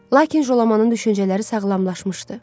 Lakin Jolamanın düşüncələri sağlamlaşmışdı.